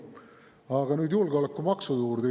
Aga nüüd julgeolekumaksu juurde.